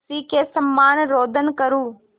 उसी के समान रोदन करूँ